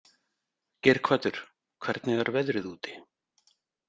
Geirhvatur, hvernig er veðrið úti?